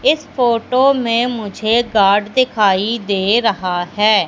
इस फोटो में मुझे गार्ड दिखाई दे रहा है।